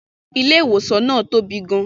Ilé-ìwòsàn náà tóbi gan